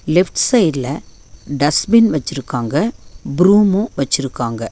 Left சைடுல dustbin வெச்சிருக்காங்க broom வெச்சிருக்காங்க.